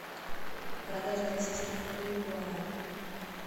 продажа российских рублей в гуарани